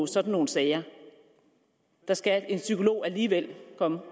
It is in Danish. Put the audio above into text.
sådan nogle sager der skal en psykolog alligevel